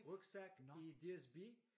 Rygsæk i DSB